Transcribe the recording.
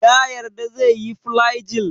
Ya yarda zai sha flagyl?